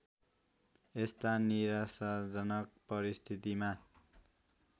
यस्ता निराशाजनक परिस्थितिमा